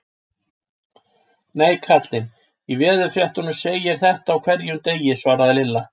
Nei, kallinn í veðurfréttunum segir þetta á hverjum degi svaraði Lilla.